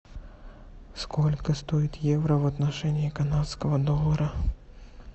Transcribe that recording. сколько стоит евро в отношении канадского доллара